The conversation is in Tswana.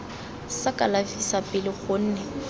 sa kalafi sa pele gonne